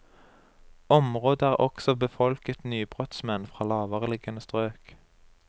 Området er også befolket nybrottsmenn fra lavereliggende strøk.